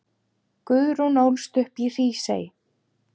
Guðrún ólst upp í Hrísey.